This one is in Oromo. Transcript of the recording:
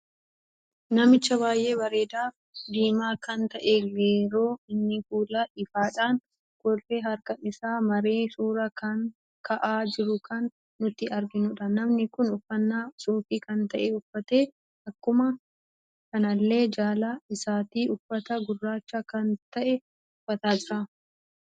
Namicha baay'ee bareedaf diima kan ta'ee geroo inni fuula ifaadhan kolfee harkaa isaa maree suuraa ka'aa jiru kan nuti arginudha. Namni kun uffanna suufii kan ta'e uffate akkuma kanallee jalaa isaatti uffata gurraacha kan ta'e uffata jira.